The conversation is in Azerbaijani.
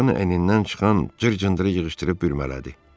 Uşağın əynindən çıxan cır-cındırı yığışdırıb bürmələdi.